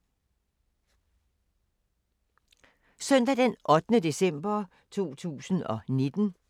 Søndag d. 8. december 2019